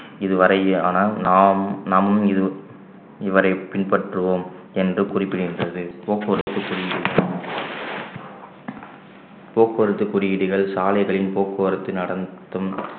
இதுவரையானால் நாம் நம் இது இவரை பின்பற்றுவோம் என்று குறிப்பிடுகின்றது போக்குவரத்து குறியீடு போக்குவரத்து குறியீடுகள் சாலைகளில் போக்குவரத்து நடத்தும்